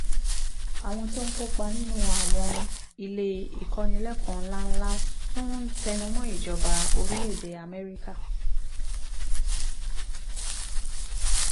àwọn tó ń kópa nínú àwọn ilé ìkọ́nilẹ́kọ̀ọ́ ńláńlá tún ń tẹnu mọ́ ìjọba orílẹ̀-èdè amẹ́ríkà